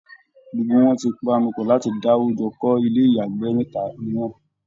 Gbogbo wọn ti panupọ̀ láti dáwó jọ kọ́ ilé ìyàgbẹ́ mẹ́ta mìíràn